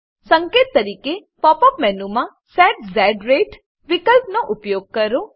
સંકેત તરીકે pop up મેનુમાં સેટ ઝ રતે વિકલ્પનો ઉપયોગ કરો